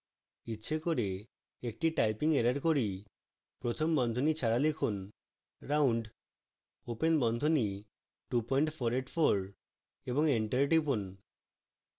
ইচ্ছে করে একটি typing error করি